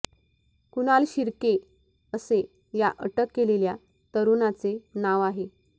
कुणाल शिर्के असे या अटक केलेल्या तरूणाचे नाव आहे